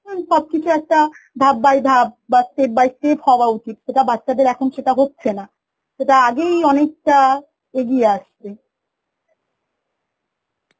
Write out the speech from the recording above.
উন সবকিছু একটা ধাপ by ধাপ বা step by step হওয়া উচিত সেটা বাচ্চাদের এখন সেটা হচ্ছে না সেটা আগেই অনেকটা এগিয়ে আসছে